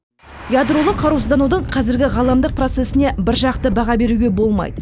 ядролық қарусызданудың қазіргі ғаламдық процесіне біржақты баға беруге болмайды